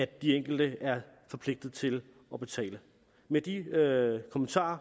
de enkelte er forpligtede til at betale med de kommentarer